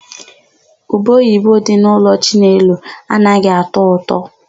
Ubeoyibe dị n'ụlọ Chinelo anaghị atọ ụtọ.